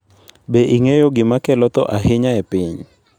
Be ing'eyo gima kelo tho ahinya e piny?